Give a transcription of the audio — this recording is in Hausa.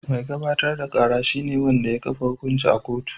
Mai gabatar da kara shi ne wanda ya kafa hukunci a kotu.